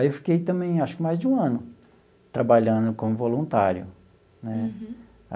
Aí, eu fiquei também, acho que mais de um ano, trabalhando como voluntário né.